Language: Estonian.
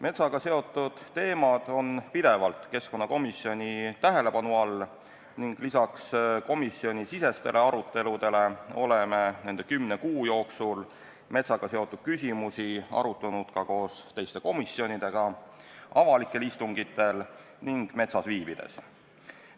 Metsaga seotud teemad on pidevalt keskkonnakomisjoni tähelepanu all ning lisaks komisjonisisestele aruteludele oleme nende kümne kuu jooksul metsaga seotud küsimusi arutanud ka koos teiste komisjonidega, avalikel istungitel ning metsas viibides.